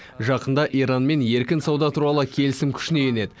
жақында иранмен еркін сауда туралы келісім күшіне енеді